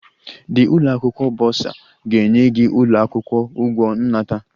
The ụlọ akwụkwọ burser ga-enye gị ụlọ akwụkwọ ụgwọ nnata